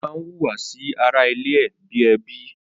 Ó má hùwà sí ara ilé ẹ̀ bi ẹbí